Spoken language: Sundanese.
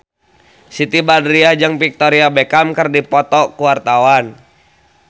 Siti Badriah jeung Victoria Beckham keur dipoto ku wartawan